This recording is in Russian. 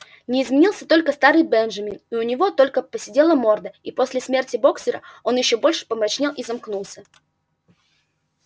не изменился только старый бенджамин у него только поседела морда и после смерти боксёра он ещё больше помрачнел и замкнулся